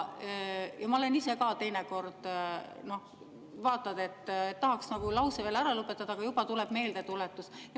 Ma olen ise ka teinekord vaadanud, et tahaks nagu lause ära lõpetada, aga juba tuleb meeldetuletus.